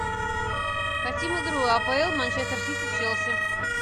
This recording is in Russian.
хотим игру апл манчестер сити челси